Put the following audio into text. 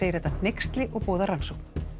þetta hneyksli og boðar rannsókn